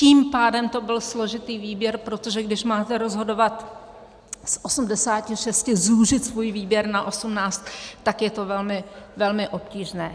Tím pádem to byl složitý výběr, protože když máte rozhodovat z 86, zúžit svůj výběr na 18, tak je to velmi obtížné.